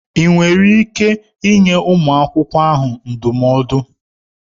Ị nwere ike ịnye nwa akwụkwọ ahụ ndụmọdụ?